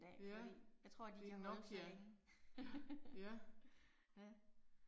Ja. Det er en Nokia. Ja